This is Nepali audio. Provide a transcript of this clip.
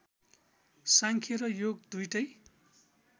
सांख्य र योग दुईटै